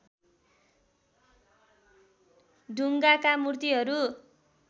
ढुङ्गाका मूर्तिहरू